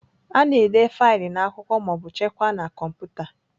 A na-ede faịlụ n'akwụkwọ ma ọ bụ chekwaa na kọmputa.